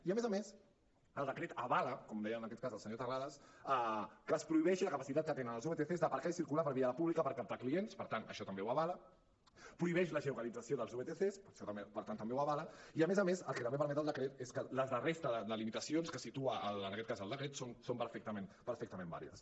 i a més a més el decret avala com deia en aquest cas el senyor terrades que es prohibeixi la capacitat que tenen els vtc d’aparcar i circular per la via pública per captar clients per tant això també ho avala prohibeix la geolocalització dels vtc això per tant també ho avala i a més a més el que també permet decret és que la resta de limitacions que situa en aquest cas el decret són perfectament vàlides